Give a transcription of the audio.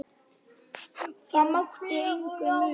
Það mátti engu muna.